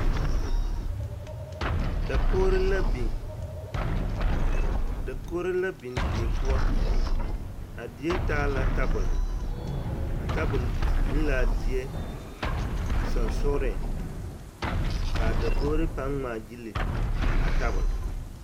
Dakogro la biŋ dakogro la biŋ die poɔ a die taa la tabol a tabol biŋ laa a die soŋsooreŋ kaa dakogri paŋ ŋmaa gyili a tabol.